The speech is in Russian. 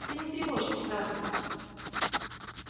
а ты не тревожься скарлетт